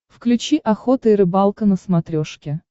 включи охота и рыбалка на смотрешке